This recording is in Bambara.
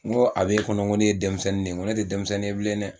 N ko a be kɔni n ko ne ye denmisɛnnin de ye, n ko ne tɛ denmisɛnnin ye bilen dɛ.